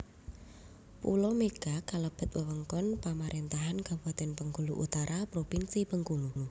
Pulo Mega kalebet wewengkon pamarentahan kabupatèn Bengkulu Utara propinsi Bengkulu